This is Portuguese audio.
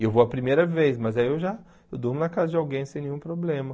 E eu vou a primeira vez, mas aí eu já... Eu durmo na casa de alguém sem nenhum problema.